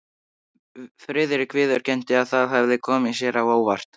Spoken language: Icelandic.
Friðrik viðurkenndi, að það hefði komið sér á óvart.